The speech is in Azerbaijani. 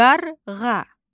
Qarğa.